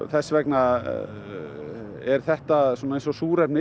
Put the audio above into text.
þess vegna er þetta eins og súrefni